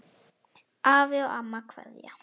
Afi og amma kveðja